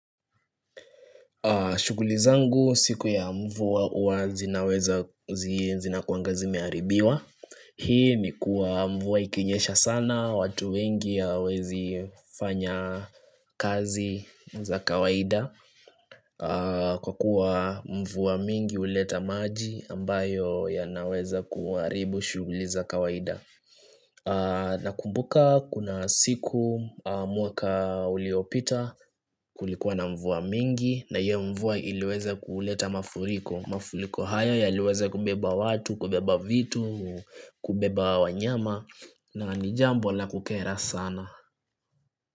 Shuguli zangu siku ya mvua zinaweza zinakuwanga zimeharibiwa Hii ni kuwa mvua ikinyesha sana watu wengi hawawezi fanya kazi za kawaida Kwa kuwa mvua mingi huleta maji ambayo yanaweza kuharibu shughuli za kawaida Nakumbuka kuna siku mwaka uliopita kulikuwa na mvua mingi na hiyo mvua iliweza kuuleta mafuriko Mafuriko haya yaliweza kubeba watu, kubeba vitu, kubeba wanyama na ni jambo la kukera sana.